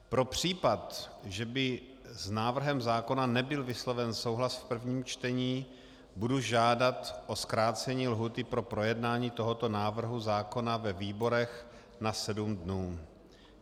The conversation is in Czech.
Pro případ, že by s návrhem zákona nebyl vysloven souhlas v prvním čtení, budu žádat o zkrácení lhůty pro projednání tohoto návrhu zákona ve výborech na sedm dnů.